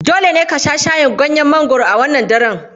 Dole ne ku sha shayin ganyen mangwaro a wannan daren.